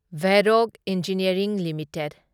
Verok engineering limited